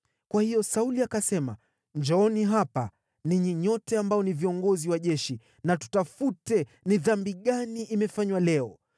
Kwa hiyo Sauli akasema, “Njooni hapa, ninyi nyote ambao ni viongozi wa jeshi, na tutafute ni dhambi gani imefanywa leo.